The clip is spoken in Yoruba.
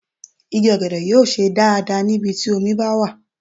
Igi ọ̀gẹ̀dẹ̀ yóò ṣe dáadáa ní ibi tí omi bá wà.